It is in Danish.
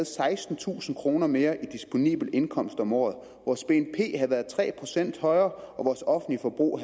sekstentusind kroner mere i disponibel indkomst om året vores bnp ville have været tre procent højere vores offentlige forbrug